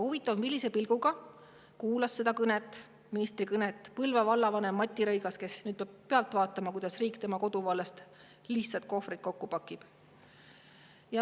Huvitav, kuulas seda ministri kõnet Põlva vallavanem Martti Rõigas, kes nüüd peab pealt vaatama, kuidas riik tema koduvallas lihtsalt kohvrid pakib.